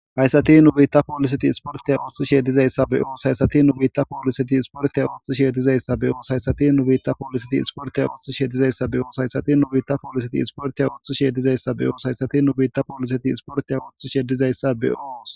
hayssati nu biitta pooliseti isporteya ooththishe dizayssa be'oos,haysati nu biitta pooliseti isporteya ooththishe dizayssa be'oos,hayssati nu biitta pooliseti isporteya ooththishe dizayssa be'oos,haysati nu biitta pooliseti isportiya oththishe dizayssa be'oos,haysati nu biitta pooliseti isporteya ooththishe dizayssa be'oos